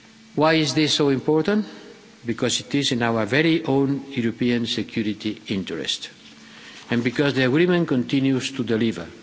Why is this so important? Because it is in our very own European security interest, and because the agreement continues to deliver.